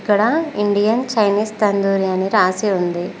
ఇక్కడ Indian Chinese tandoori అని రాసి.